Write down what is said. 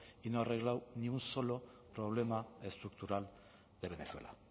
y no ha arreglado ni un solo problema estructural de venezuela